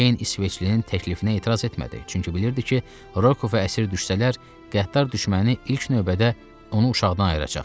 Ceyn İsveçlinin təklifinə etiraz etmədi, çünki bilirdi ki, Roko və əsir düşsələr, qəddar düşməni ilk növbədə onu uşaqdan ayıracaq.